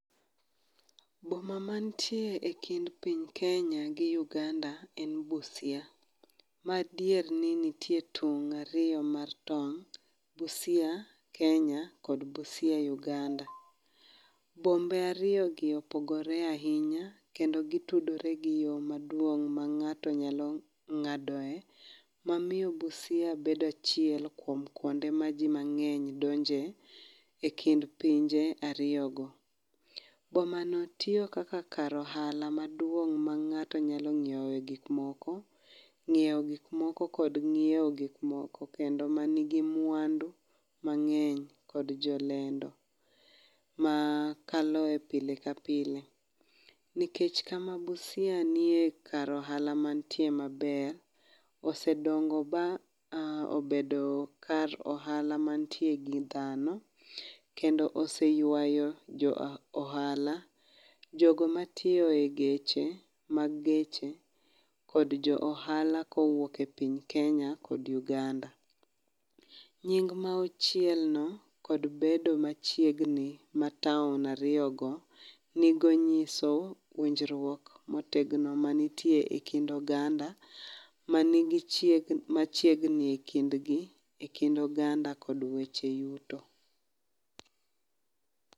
Boma mantie e kind piny kenya gi Uganda en Busia. Ma dier ni nitie tong' ariyo mar tong' Busia Kenya kod Busia Uganda. Bombe ariyogi opogore ahinya kendo gitudore gi yo maduong' ma ng'ato nyalo ng'adoe, mamiyo Busia bedo achiel kuom kwonde ma ji donje e kind pinje ariyigo. Bomano tiyo kaka kar ohala maduong' ma ng'ato nyalo ng'ioe gikmoko, ng'iewo gikmoko kod ng'iewo gikmoko kendo manigi mwandu mang'eny kod jolendo makalo pile ka pile, nikech kama Busia nie kar ohala manitie maber, osedongo ba obedo kar ohala mantie gi dhano, kendo oseywayo jo ohala . Jogo matiyo e geche mag geche kod jo ohala kowuok e piny kenya kod Uganda. Nying' ma ochielno kod bedo machiegni mat town ariyogo nyiso winjruok motegno manitie e kind oganda machiegni e kind oganda kod weche yuto.